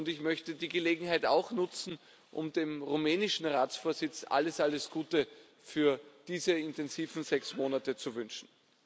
Ich möchte die Gelegenheit auch nutzen, um dem rumänischen Ratsvorsitz alles, alles Gute für diese intensiven sechs Monate zu wünschen.